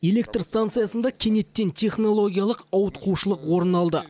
электр станциясында кенеттен технологиялық ауытқушылық орын алды